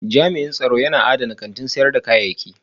Tsaro yana adana kantin sayar da kayayyaki